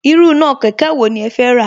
Irú iná kẹ̀kẹ́ wo ni ẹ fẹ́ rà